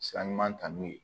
Sira ɲuman ta n'u ye